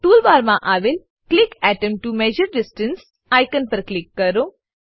tool બારમાં આવેલ click atom to measure distance icon પર ક્લિક કરો